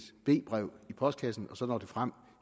b brev i postkassen og så når det frem